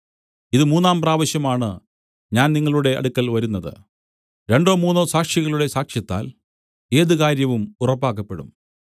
ഇത് മൂന്നാം പ്രാവശ്യം ആണ് ഞാൻ നിങ്ങളുടെ അടുക്കൽ വരുന്നത് രണ്ടോ മൂന്നോ സാക്ഷികളുടെ സാക്ഷ്യത്താൽ ഏത് കാര്യവും ഉറപ്പാക്കപ്പെടും